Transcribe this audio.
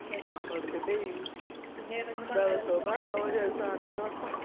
നമ്മളെടുക്കേ ഡേയ് ദിവസേനന് പറഞ്ഞ